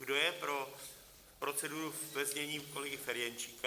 Kdo je pro proceduru ve znění kolegy Ferjenčíka.?